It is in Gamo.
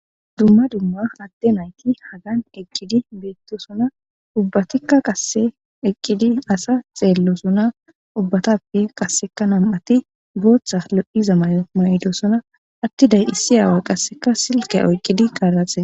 Dumma dumma adde nayti hagan eqqidi beettosona ubbatikka qasse eqqidi asa xeellosona ubbatappe qaseka nam7ati booththa lo7iza may7o ma7dosona attiday issi aaway qasseka silka oyqqidi kaaraxee